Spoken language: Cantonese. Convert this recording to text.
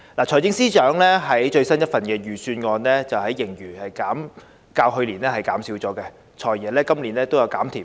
財政司司長最新一份預算案的盈餘較去年減少，而"財爺"今年也"減甜"。